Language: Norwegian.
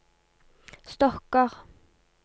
stokker